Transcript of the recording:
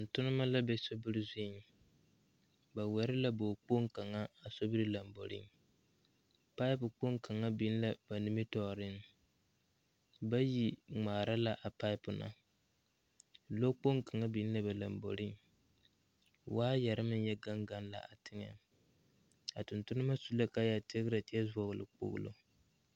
Tontonnema la be sobiri zuiŋ ba wɛre la bog kpoŋ kaŋa a sobiri lamboreŋ paipu kpoŋ kaŋa biŋ la ba nimitooreŋ bayi ngmaara la a paipu na lɔ kpoŋ kaŋa biŋ la ba lamboreŋ waayɛrre meŋ yɛ gaŋ gaŋ la a teŋɛŋ a tontonnema su la kaayɛ tigrɛ kyɛ vɔgle kpolo.